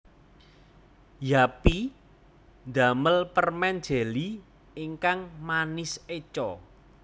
Yuppy ndamel permen jeli ingkang manis eco